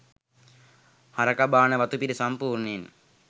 හරකා බාන වතුපිටි සම්පූර්ණයෙන්